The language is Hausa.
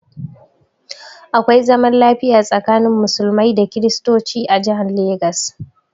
Akwai zaman lafiya tsakanin Musulmai da Kristocin a jihan Legas